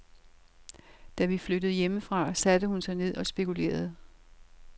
Da vi var flyttet hjemmefra, satte hun sig ned og spekulerede.